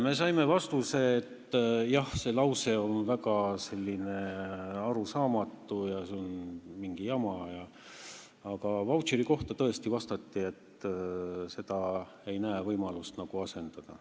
" Me saime vastuse, et jah, see lause on väga arusaamatu, see on mingi jama, aga sõna "vautšer" kohta vastati, et ei nähta võimalust seda asendada.